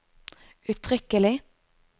uttrykkelig